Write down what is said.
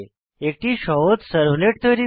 একটি সহজ সার্ভলেট তৈরি করা